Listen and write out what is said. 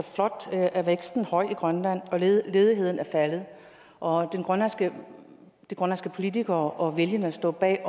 flot er væksten høj i grønland og ledigheden er faldet og de grønlandske politikere og vælgerne står bag